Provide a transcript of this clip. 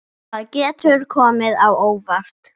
Það getur komið á óvart.